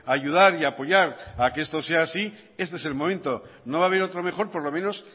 ayudar y apoyar a que esto sea así este es el momento no va a haber otro mejor por lo menos